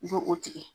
I bɛ o tigɛ